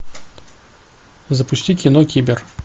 запусти кино кибер